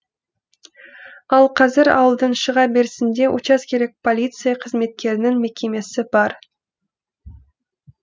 ал қазір ауылдың шыға берісінде учаскелік полиция қызметкерінің мекемесі бар